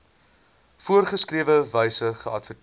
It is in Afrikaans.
voorgeskrewe wyse geadverteer